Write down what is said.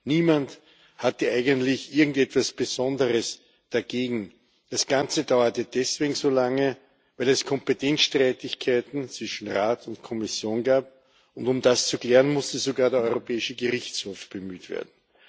Niemand hatte eigentlich etwas Besonderes dagegen, das Ganze dauerte deswegen so lange, weil es Kompetenzstreitigkeiten zwischen Rat und Kommission gab, und um das zu klären, musste sogar der Europäische Gerichtshof bemüht werden.